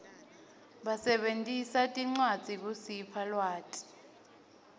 basebentisa tincwadzi kusipha lwati